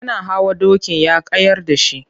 Yana hawa dokin ya kayar da shi.